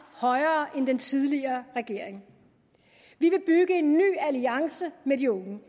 højere end den tidligere regering vi vil bygge en ny alliance med de unge